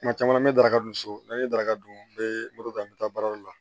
Kuma caman an bɛ daraka dun so n'an ye daraka dun n bɛ moto ta an bɛ taa baarayɔrɔ la